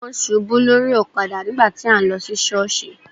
Wón ṣubú lórí ọ̀kadà nígbà tí à ń lọ sí sọọsi.